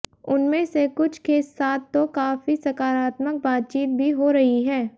उनमें से कुछ के साथ तो काफी सकारात्मक बातचीत भी हो रही है